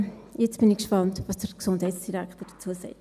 Ja, jetzt bin ich gespannt, was der Gesundheitsdirektor dazu sagt.